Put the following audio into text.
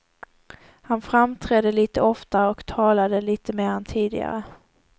Han framträdde lite oftare och talade lite mer än tidigare.